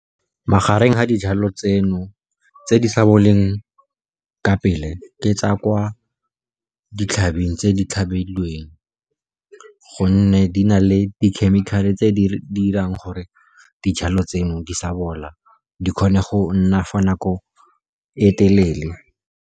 Magareng ga dijalo tseno, tse di sa boleng ka pele ke tsa kwa ditlhabing tse di tlhabilweng, gonne di na le di khemikhale tse di di dirang gore dijalo tseno di sa bola, di kgone go nna for nako e telele.